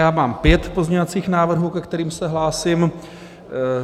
Já mám pět pozměňovacích návrhů, ke kterým se hlásím.